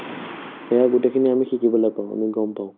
সেয়া গোটেইখিনি আমি শিকিবলে পাওঁ আমি গম পাওঁ